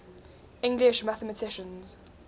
english mathematicians